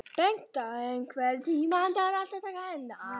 Bengta, einhvern tímann þarf allt að taka enda.